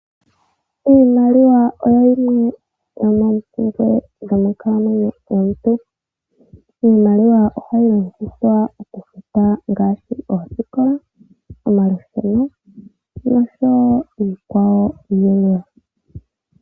Iimaliwa oyo yimwe yomoompumbwe dho monkalamwenyo yomuntu. Iimaliwa ohayi longithwa ngaashi oosikola, omalusheno noshowo iikwawo yilwe.